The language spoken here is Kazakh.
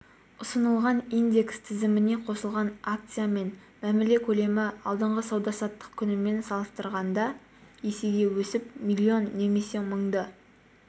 ұсынылған индекс тізіміне қосылған акциямен мәміле көлемі алдыңғы сауда-саттық күнімен салыстырғанда есеге өсіп миллион немесе мыңды